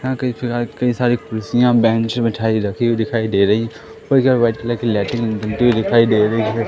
यहां कई कई सारी कुर्सियां बेंच बिठाई रखी हुई दिखाई दे रही और इधर व्हाइट कलर की लैटरिंग बनती हुई दिखाई दे रही है।